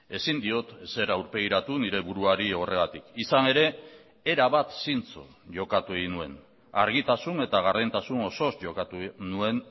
ezin diot ezer aurpegiratu nire buruari horregatik izan ere erabat zintzo jokatu egin nuen argitasun eta gardentasun osoz jokatu nuen